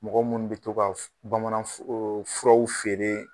Mɔgɔ munnu be to ka bamanan furaw feere.